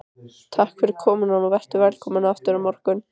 Takk fyrir komuna og vertu velkomin aftur á morgun.